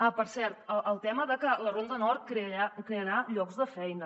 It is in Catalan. ah per cert el tema de que la ronda nord crearà llocs de feina